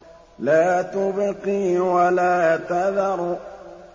لَا تُبْقِي وَلَا تَذَرُ